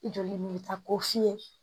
Joli min bɛ taa ko fiɲɛ